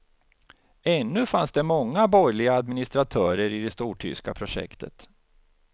Ännu fanns det många borgerliga administratörer i det stortyska projektet.